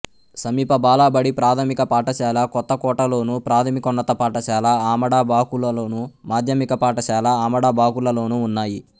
సమీప బాలబడి ప్రాథమిక పాఠశాల కొత్తకోటలోను ప్రాథమికోన్నత పాఠశాల ఆమడబాకులలోను మాధ్యమిక పాఠశాల ఆమడబాకులలోనూ ఉన్నాయి